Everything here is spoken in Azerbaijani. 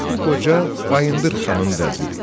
Bu qoca Bayındır Xanın vəziri idi.